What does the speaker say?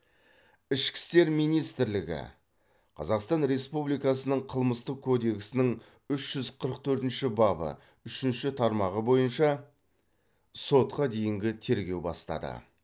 ішкі істер министрлігі қазақстан республикасының қылмыстық кодексінің үж жүз қырық төртінші бабы үшінші тармағы бойынша сотқа дейінгі тергеу бастады